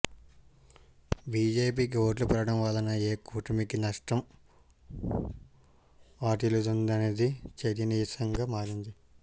బిజెపికి ఓట్లు పెరగటం వలన ఏ కూటమికి నష్టం వాటిల్లుతుందనేది చర్చనీయాంశంగా మారింది